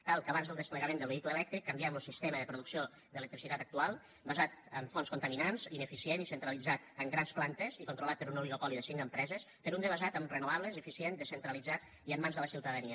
cal que abans del desplegament del vehicle elèctric canviem lo sistema de producció d’electricitat actual basat en fonts contaminants ineficient centralitzat en grans plantes i controlat per un oligopoli de cinc empreses per un de basat en renovables eficient descentralitzat i en mans de la ciutadania